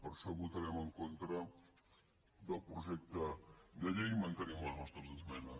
per això votarem en contra del projecte de llei i man·tenim les nostres esmenes